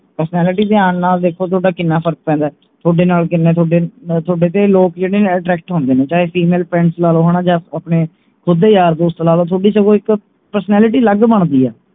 personality ਦੇ ਆਣ ਨਾਲ ਦੇਖੋ ਥੋਡਾ ਕਿੰਨਾ ਫਰਕ ਪੈਂਦੇ ਥੋਡੇ ਨਾਲ ਕਿੰਨੇ ਥੋਡੇ ਥੋਡੇ ਤੇ ਲੋਕ ਜਿਹੜੇ ਹੈ attract ਹੁੰਦੇ ਨੇ ਚਾਹੇ female friends ਲਾ ਲੋ ਹਣਾ ਜਾ ਆਪਣੇ ਸਿਧੇ ਯਾਰ ਦੋਸਤ ਲਾ ਲਓ ਥੋਡੀ ਸਗੋਂ ਇਕ personality ਅਲੱਗ ਬਣਦੀ ਹੈ